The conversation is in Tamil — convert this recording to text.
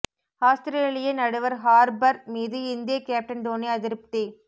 ஆஸ்திரேலிய நடுவர் ஹார்ப்பர் மீது இந்திய கேப்டன் தோனி அதிருப்தி